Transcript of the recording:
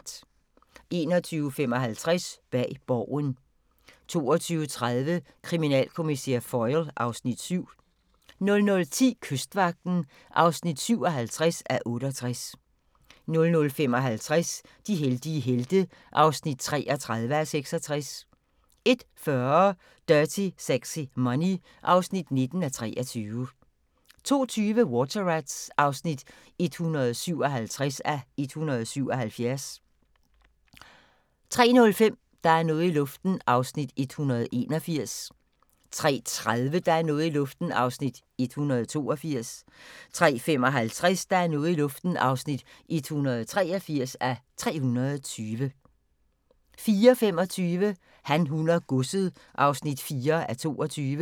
21:55: Bag Borgen 22:30: Kriminalkommissær Foyle (Afs. 7) 00:10: Kystvagten (57:68) 00:55: De heldige helte (33:66) 01:40: Dirty Sexy Money (19:23) 02:20: Water Rats (157:177) 03:05: Der er noget i luften (181:320) 03:30: Der er noget i luften (182:320) 03:55: Der er noget i luften (183:320) 04:25: Han, hun og godset (4:22)